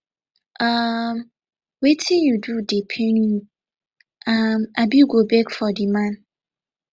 um wetin you do dey pain you um abi go beg for di man